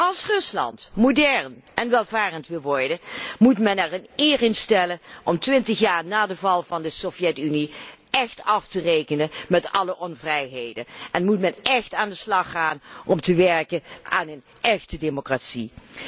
Als Rusland modern en welvarend wil worden, moet men er eer in stellen om twintig jaar na de val van de Sovjet Unie echt af te rekenen met alle onvrijheden en moet men echt aan de slag gaan om te werken aan een échte democratie.